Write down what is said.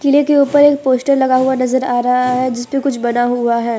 किले के ऊपर एक पोस्टर लगा हुआ नजर आ रहा है जिस पे कुछ बना हुआ है।